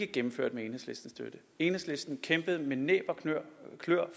gennemført med enhedslistens støtte enhedslisten kæmpede med næb og kløer